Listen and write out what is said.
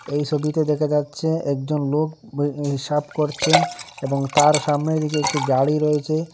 এই সবিতে দেখা যাচ্ছে একজন লোক বই হিসাব করছেন এবং তার সামনের দিকে একটি গাড়ি রয়েচে।